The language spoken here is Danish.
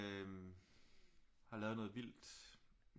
Øh har lavet noget vildt